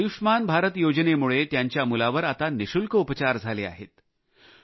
पण आयुष्मान भारत योजनेमुळे त्यांच्या मुलावर आता निशुल्क उपचार झाले आहेत